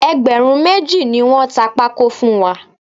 Ẹgbẹ̀rún méjì ni wọ́n ta pákó fún wa